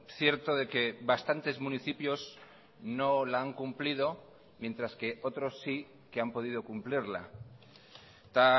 cierto de que bastantes municipios no la han cumplido mientras que otros sí que han podido cumplirla eta